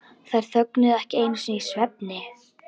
Þær þögnuðu ekki einu sinni í svefni.